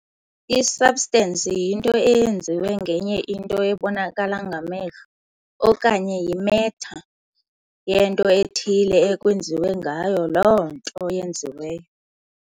I-Substance yinto eyenziwe ngenye into ebonakala ngamehlo, okanye "yi-matter", yento ethile ekwenziwe ngayo loo nto yenziweyo.